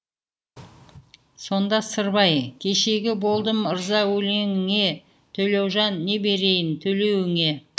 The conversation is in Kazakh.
сонда сырбай кешегі болдым ырза өлеңіңе төлеужан не берейін төлеуіне